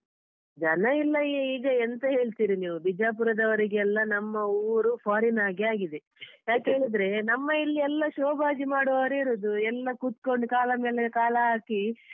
ಜನ ಇಲ್ಲ ಈ ಈಗ ಎಂತ ಹೇಳ್ತೀರಿ ನೀವು ಬಿಜಾಪುರದವರಿಗೆಲ್ಲ ನಮ್ಮ ಊರು foreign ಹಾಗೆ ಆಗಿದೆ ಯಾಕ್ ಹೇಳಿದ್ರೇ, ನಮ್ಮ ಇಲ್ಲಿ ಎಲ್ಲ show ಮಾಡುವವರೇ ಇರುದು ಎಲ್ಲ ಕೂತ್ಕೋಂಡು ಕಾಲ ಮೇಲೆ ಕಾಲ ಹಾಕಿ.